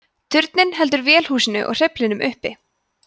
turninn heldur vélarhúsinu og hreyflinum uppi